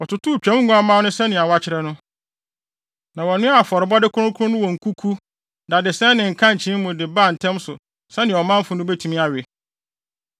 Wɔtotoo Twam nguamma no sɛnea wɔakyerɛ no, na wɔnoaa afɔrebɔde kronkron no wɔ nkuku, dadesɛn ne nkankyee mu de baa ntɛm so sɛnea ɔmanfo no betumi awe.